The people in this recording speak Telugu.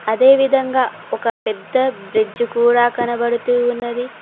అదేవిధంగా ఒక పెద్ద బ్రిడ్జ్ కూడా కనబడుతూ ఉన్నది.